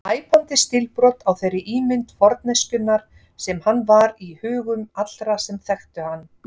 Æpandi stílbrot á þeirri ímynd forneskjunnar sem hann var í hugum allra sem þekktu hann.